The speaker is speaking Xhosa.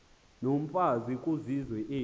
yomfazi kwizizwe ezi